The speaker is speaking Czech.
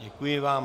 Děkuji vám.